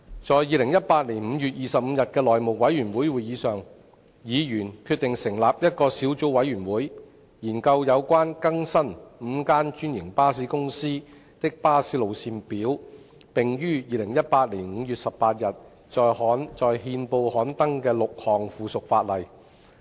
在2018年5月25日的內務委員會會議上，議員決定成立一個小組委員會，以研究有關更新5間專營巴士公司的巴士路線表、並已於2018年5月18日在憲報刊登的6項附屬法例。